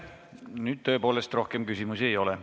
Nüüd tõepoolest rohkem küsimusi ei ole.